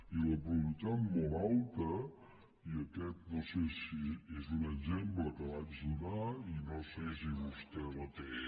i la productivitat molt alta i aquest és un exemple que vaig donar i no sé si vostè el té